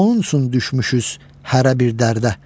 Onun üçün düşmüşüz hərə bir dərdə.